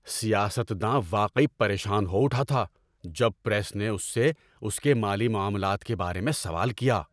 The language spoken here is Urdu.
سیاست داں واقعی پریشان ہو اٹھا تھا جب پریس نے اس سے اس کے مالی معاملات کے بارے میں سوال کیا۔